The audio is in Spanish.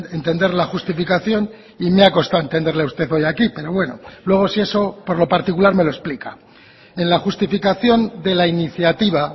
entender la justificación y me ha costado entenderle a usted hoy aquí pero bueno luego si eso por lo particular me lo explica en la justificación de la iniciativa